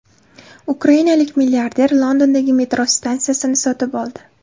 Ukrainalik milliarder Londondagi metro stansiyasini sotib oldi.